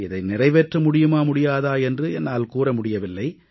இதை நிறைவேற்ற முடியுமா முடியாதா என்று என்னால் கூற முடியவில்லை